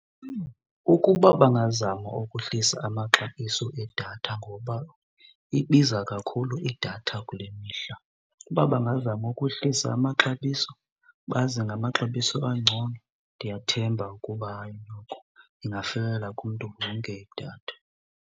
Ukuba bangazama ukuhlisa amaxabiso edatha ngoba ibiza kakhulu idatha kule mihla. Uba bangazama ukuhlisa amaxabiso baze namaxabiso angcono, ndiyathemba ukuba hayi noko ingafikelela kumntu wonke idatha.